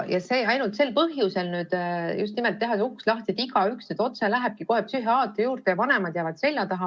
Ainult sel põhjusel see uks lahti teha ning lasta igaühel otse psühhiaatri juurde minna, nii et vanemad jäävad selja taha.